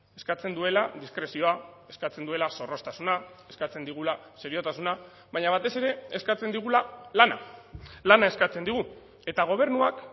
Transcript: eskatzen duela diskrezioa eskatzen duela zorroztasuna eskatzen digula seriotasuna baina batez ere eskatzen digula lana lana eskatzen digu eta gobernuak